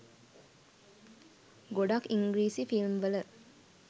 ගොඩක් ඉංග්‍රීසි ෆිල්ම් වල